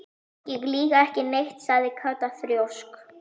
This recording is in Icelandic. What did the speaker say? Ég lýg ekki neitt sagði Kata þrjósk.